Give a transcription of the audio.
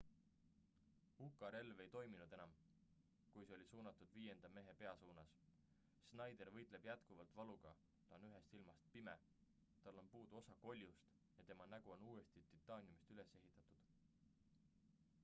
uka relv ei toiminud enam kui see oli suunatud viienda mehe pea suunas schneider võitleb jätkuvalt valuga ta on ühest silmast pime tal on puudu osa koljust ja tema nägu on uuesti titaaniumist üles ehitatud